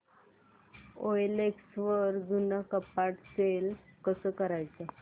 OLX वर जुनं कपाट सेल कसं करायचं